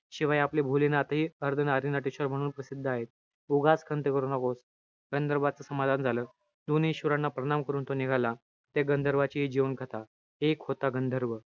शिवाय, आपले भोलेनाथ हे अर्धनारी नटेश्वर म्हणून प्रसिद्ध आहेत. उगाच खंत करू नकोस. गंधर्वाचं समाधान झालं. दोन्ही ईश्वराना प्रणाम करून तो निघाला. त्या गंधर्वांची हि जीवन कथा. एक होता गंधर्व,